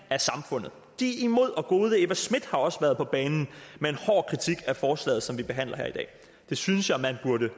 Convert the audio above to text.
af samfundet de er imod og gode eva schmidt har også været på banen med en hård kritik af forslaget som vi behandler her i dag det synes jeg man burde